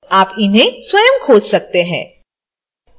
आप इन्हें स्वयं खोज सकते हैं